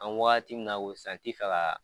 An be wagati min na ko sisan n te fɛ ga